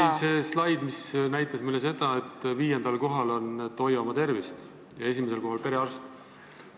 Ei, see slaid, mis näitas meile seda, et viiendal kohal on "Hoiame tervist" ja esimesel kohal on perearst.